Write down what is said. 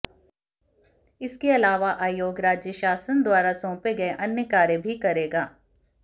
इसके अलावा आयोग राज्य शासन द्वारा सौंपे गये अन्य कार्य भी करेगा